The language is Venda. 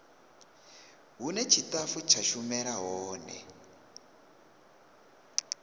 hune tshitafu tsha shumela hone